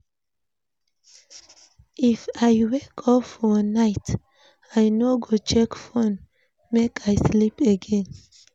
If I wake up for night, I no go check phone make I sleep again.